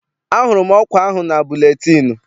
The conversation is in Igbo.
Ahụrụ m ọkwa ahụ na buletịịnụ.